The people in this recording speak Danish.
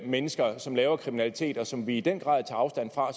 mennesker som laver kriminalitet og som vi i den grad tager afstand fra